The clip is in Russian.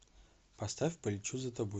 поставь полечу за тобой